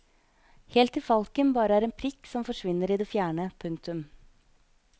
Helt til falken bare er en prikk som foresvinner i det fjerne. punktum